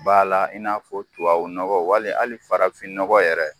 Bala i n'a fɔ tubabu nɔgɔ wali hali farafin nɔgɔ yɛrɛ